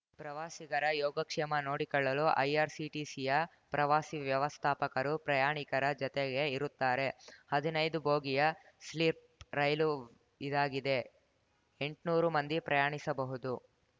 ಪ್ರವಾಸಿಗರ ಯೋಗಕ್ಷೇಮ ನೋಡಿಕೊಳ್ಳಲು ಐಆರ್‌ಸಿಟಿಸಿಯ ಪ್ರವಾಸಿ ವ್ಯವಸ್ಥಾಪಕರು ಪ್ರಯಾಣಿಕರ ಜತೆಗೇ ಇರುತ್ತಾರೆ ಹದಿನೈದು ಬೋಗಿಯ ಸ್ಲೀಪ್ ರೈಲು ಇದಾಗಿದೆ ಎಂಟ್ನೂರು ಮಂದಿ ಪ್ರಯಾಣಿಸಬಹುದು